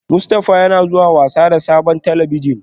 Mustafa yana zuwa wasa da sabon talabijin